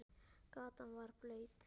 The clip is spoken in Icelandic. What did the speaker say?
Gatan var blaut.